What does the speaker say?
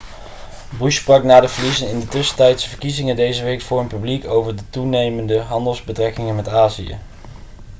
bush sprak na de verliezen in de tussentijdse verkiezingen deze week voor een publiek over toenemende handelsbetrekkingen met azië